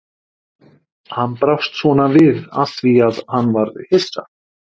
Hann brást svona við af því að hann var hissa.